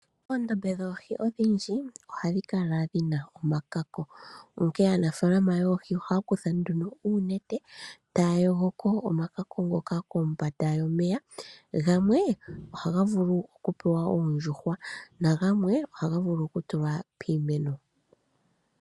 Oondombe dhoohi odhindji ogadhi kala dhina omakako onkene aanafalama yoohi ohaya kutha uunete taya yogoko omakako ngoka kombanda yomeya gamwe ohaga vulu okupewa oondjuhwa nagamwe ohaga vulu oku tulwa piimeno.